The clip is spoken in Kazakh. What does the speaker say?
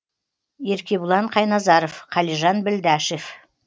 еркебұлан қайназаров қалижан білдашев